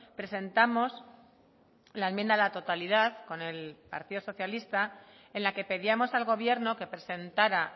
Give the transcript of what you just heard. presentamos la enmienda a la totalidad con el partido socialista en la que pedíamos al gobierno que presentara